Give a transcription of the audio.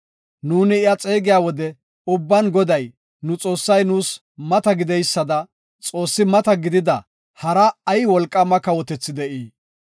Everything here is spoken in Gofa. Nuuni iya xeegiya wode ubban Goday, nu Xoossay nuus mata gideysada xoossi mata gidida hara ay wolqaama kawotethi de7ii?